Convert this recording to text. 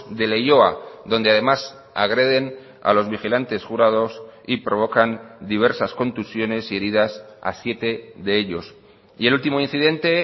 de leioa donde además agreden a los vigilantes jurados y provocan diversas contusiones y heridas a siete de ellos y el último incidente